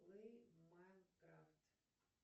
плей майнкрафт